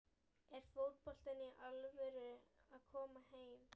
Er fótboltinn í alvöru að koma heim?